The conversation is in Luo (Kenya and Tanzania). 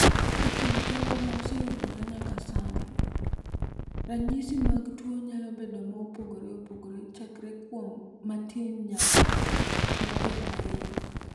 "E kind jogo ma oseyudore nyaka sani, ranyisi mag tuo nyalo bedo mopogore opogore chakre kuom matin nyaka mapek ahinya."